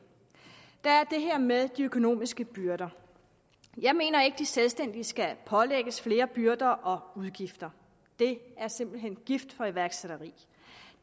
der er det her med de økonomiske byrder jeg mener ikke at de selvstændige skal pålægges flere byrder og udgifter det er simpelt hen gift for iværksætteriet